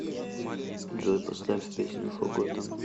джой поставь песню фоготен